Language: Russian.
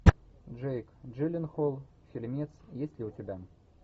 джейк джилленхол фильмец есть ли у тебя